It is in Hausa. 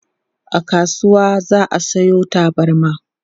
a kasuwa za'a Sayo tabarma